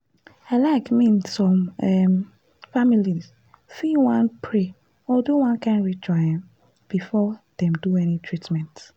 i like mean some um families fit wan pray or do one kind ritual um before dem do any treatment.